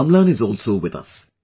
Amlan is also with us